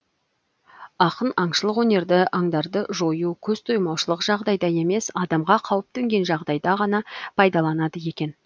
ақын аңшылық өнерді аңдарды жою көз тоймаушылық жағдайда емес адамға қауіп төнген жағдайда ғана пайдаланады екен